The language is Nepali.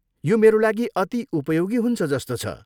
यो मेरा लागि अति उपयोगी हुन्छ जस्तो छ।